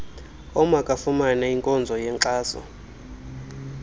omakafumane inkonzo yenkxaso